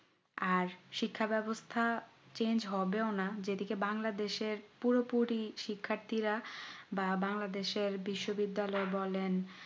আর শিক্ষা ব্যবস্থা change হবেও না যেদিকে বাংলাদেশ এর পুরোপুরি শিক্ষার্থী রা বা বাংলাদেশ এর বিশ্ব বিদ্যালয় বলেন